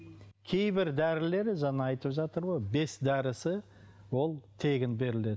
кейбір дәрілер жаңа айтып жатыр ғой бес дәрісі ол тегін беріледі